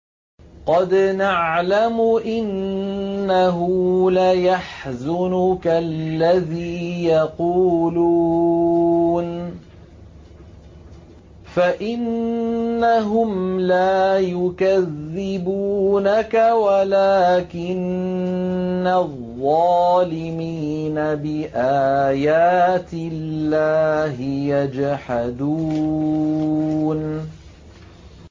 قَدْ نَعْلَمُ إِنَّهُ لَيَحْزُنُكَ الَّذِي يَقُولُونَ ۖ فَإِنَّهُمْ لَا يُكَذِّبُونَكَ وَلَٰكِنَّ الظَّالِمِينَ بِآيَاتِ اللَّهِ يَجْحَدُونَ